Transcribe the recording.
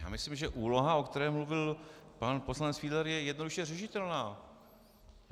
Já myslím, že úloha, o které mluvil pan poslanec Fiedler, je jednoduše řešitelná.